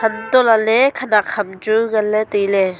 antoh lah ley khenek ham chu ngan ley tailey.